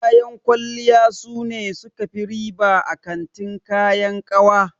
Kayan kwalliya sune suka fi riba a kantin kayan ƙawa.